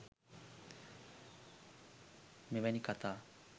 මෙවැනි කථා